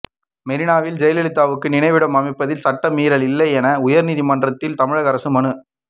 மெரீனாவில் ஜெயலலிதாவுக்கு நினைவிடம் அமைப்பதில் சட்ட மீறல் இல்லை என உயர்நீதிமன்றத்தில் தமிழக அரசு மனு